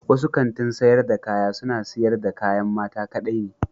Wasu kantin sayar da kaya suna siyar da kayan mata kaɗai ne.